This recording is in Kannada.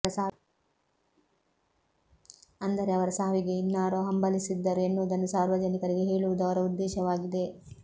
ಅಂದರೆ ಅವರ ಸಾವಿಗೆ ಇನ್ನಾರೋ ಹಂಬಲಿಸಿದ್ದರು ಎನ್ನುವುದನ್ನು ಸಾರ್ವಜನಿಕರಿಗೆ ಹೇಳುವುದು ಅವರ ಉದ್ದೇಶವಾಗಿದೆ